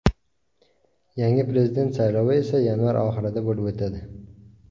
Yangi prezident saylovi esa yanvar oyi oxirida bo‘lib o‘tadi.